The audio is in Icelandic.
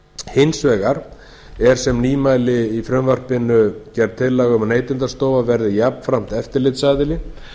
hins vegar er sem nýmæli í frumvarpinu gerð tillaga um að neytendastofa verði jafnframt eftirlitsaðili